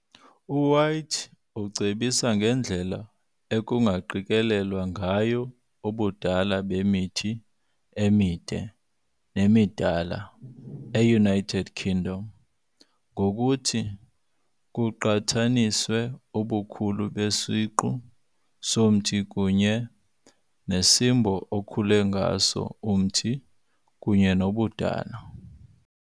U-White ucebisa ngendlela ekungaqikelelwa ngayo ubudala bemithi emide nemidala eUnited Kingdom ngokuthi kuqhathaniswe ubukhulu besiqu somthi kunye, nesimbo okhula ngaso umthi kunye nobudala.